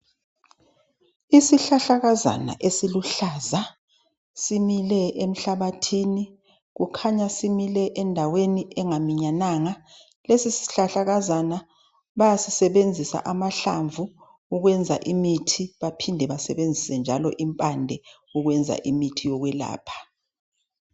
isihlahlakazana esiluhlaza simile emhlabathini kukhanya simile endaweni engaminyananga lesi sihlahlakazana bayasisebenzisa amahlamvu ukwenza imithi baphinde njalo basebenzise impande ukwenza imithi yokwelapha